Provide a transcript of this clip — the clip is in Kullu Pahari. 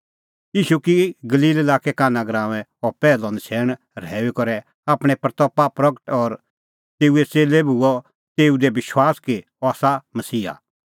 ईशू की गलील लाक्के काना गराऊंऐं अह पैहलअ नछ़ैण रहैऊई करै आपणीं महिमां प्रगट और तेऊए च़ेल्लै बी हुअ तेऊ दी विश्वास कि अह आसा मसीहा